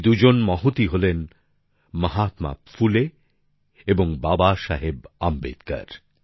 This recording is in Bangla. এই দুজন মহতি হলেন মহাত্মা ফুলে এবং বাবাসাহেব আম্বেদকর